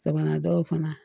Sabanan dɔw fana